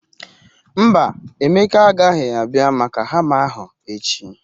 Mba, Emeka aghaghi abia maka hama ahu echi.